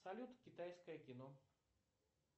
салют китайское кино